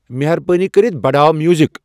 مہربٲنی کٔرِتھ بڑاو میوزِک ۔